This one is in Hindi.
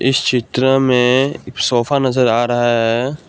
इस चित्र में एक सोफा नजर आ रहा है।